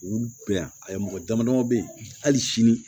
Olu bɛ yan ayi mɔgɔ dama dama bɛ ye hali sini